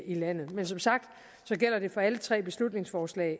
i landet men som sagt gælder det for alle tre beslutningsforslag